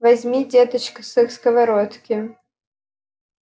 возьми деточка со сковородки